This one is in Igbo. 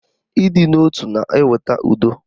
Ịdị n'otu na-eweta udo